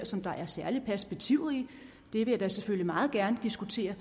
se der er et særligt perspektiv i det vil jeg da selvfølgelig meget gerne diskutere